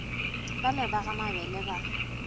bale ba ga mabele ba